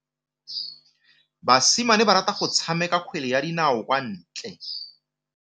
Basimane ba rata go tshameka kgwele ya dinaô kwa ntle.